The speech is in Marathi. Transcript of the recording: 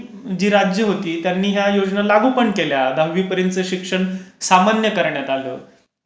जी राज्यं होती त्यांनी या योजना लागू पण केल्या. दहावीपर्यंतचं शिक्षण सामान्य करण्यात आलं.